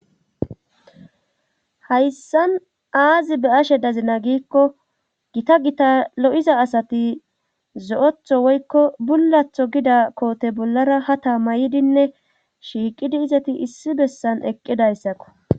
hayssan aazi be ashe dazina giikko gita gita lo7iza asati zo7etho woykko bullatho gida koote bollara ha tamaydinne shiiqidi izati issi bessan eqqidayssakko